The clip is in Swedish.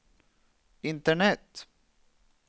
internet